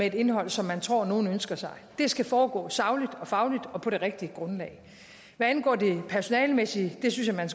et indhold som man tror nogen ønsker sig det skal foregå sagligt og fagligt og på det rigtige grundlag hvad angår det personalemæssige synes jeg man